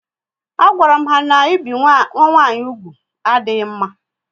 A gwaram ha na ebi nwa nwanyị úgwù adịghị mma